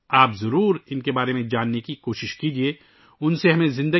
آپ کو ضرور ان کے بارے میں جاننے کی کوشش کرنی چاہیئے